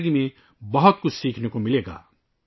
زندگی میں ہمیں ان سے بہت کچھ سیکھنے کو ملے گا